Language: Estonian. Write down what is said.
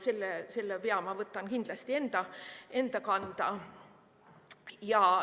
Selle vea ma võtan kindlasti enda kanda.